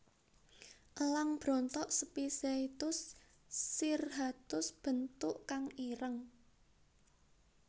Elang brontok Spizaetus cirrhatus bentuk kang ireng